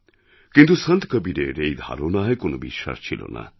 কিন্তু সন্ত কবীরের এই ধারণায় কোনোবিশ্বাস ছিল না